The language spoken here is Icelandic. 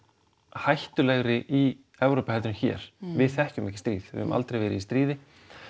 hættulegri í Evrópu heldur en hér við þekkjum ekki stríð við höfum aldrei farið í stríð